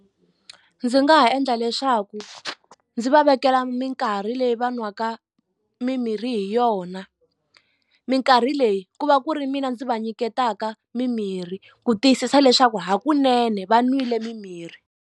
Ndzi nga ha endla leswaku ndzi va vekela minkarhi leyi va nwaka mimirhi hi yona mikarhi leyi ku va ku ri mina ndzi va nyiketaka mimirhi ku tiyisisa leswaku hakunene va nwile mimirhi.